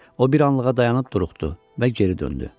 O bir anlığa dayanıb duruxdu və geri döndü.